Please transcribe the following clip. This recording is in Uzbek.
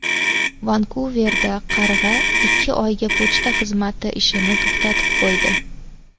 Vankuverda qarg‘a ikki oyga pochta xizmati ishini to‘xtatib qo‘ydi.